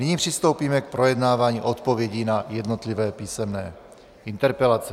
Nyní přistoupíme k projednávání odpovědí na jednotlivé písemné interpelace.